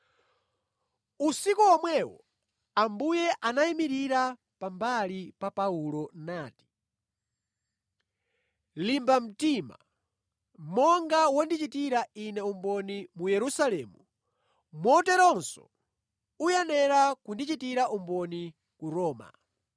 Usiku omwewo Ambuye anayimirira pambali pa Paulo nati, “Limba mtima! Monga wandichitira Ine umboni mu Yerusalemu, moteronso uyenera kundichitira umboni ku Roma.”